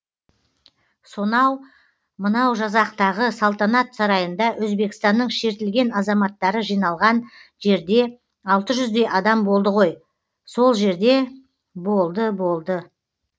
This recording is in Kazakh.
сонау мынау жазақтағы салтанат сарайында өзбекстанның шертілген азаматтары жиналған жерде алты жүздей адам болды ғой сол жерде болды болды